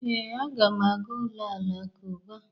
Ee, aga m aga ụlọ alakụba.